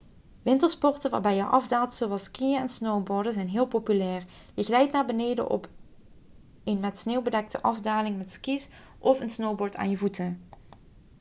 wintersporten waarbij je afdaalt zoals skiën en snowboarden zijn heel populair je glijdt naar beneden op een met sneeuw bedekte afdaling met ski's of een snowboard aan je voeten